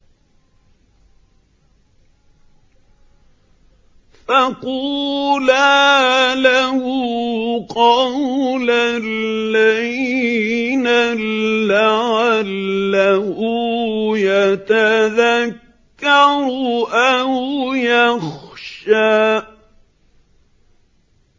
فَقُولَا لَهُ قَوْلًا لَّيِّنًا لَّعَلَّهُ يَتَذَكَّرُ أَوْ يَخْشَىٰ